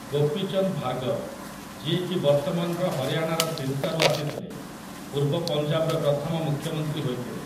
ଗୋପୀ ଚନ୍ଦ ଭାର୍ଗବ, ଯିଏକି ବର୍ତ୍ତମାନର ହରିୟାଣାର ସିରସାରୁ ଆସିଥିଲେ, ପୂର୍ବ ପଞ୍ଜାବର ପ୍ରଥମ ମୁଖ୍ୟମନ୍ତ୍ରୀ ହୋଇଥିଲେ ।